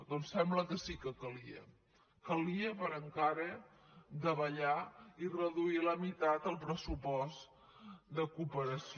doncs sembla que sí que calia calia per encara davallar i reduir a la meitat el pressupost de cooperació